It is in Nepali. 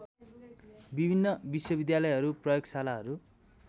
विभिन्न विश्वविद्यालयहरू प्रयोगशालाहरू